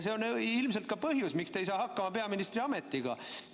See on ilmselt ka põhjus, miks te ei saa hakkama peaministri ametiga.